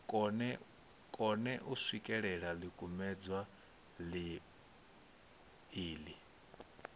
kone u swikelela ḽikumedzwa iḽi